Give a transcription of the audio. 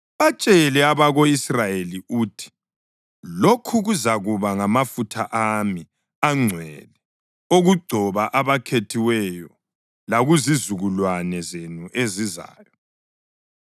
Batshele abako-Israyeli uthi, ‘Lokhu kuzakuba ngamafutha ami angcwele okugcoba abakhethiweyo lakuzizukulwane zenu ezizayo.